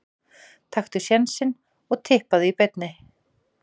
Taktu sénsinn og Tippaðu í beinni.